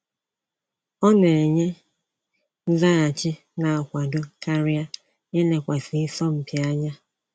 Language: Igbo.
Ọ na enye nzaghachi n'akwado karịa ilekwasị isọmpi anya